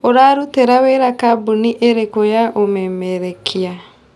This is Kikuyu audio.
Ũrarũtĩra wĩra kambũni ĩrĩkũ ya ũmemerekia?